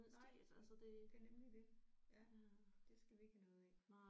Nej det er nemlig det ja det skal vi ikke have noget af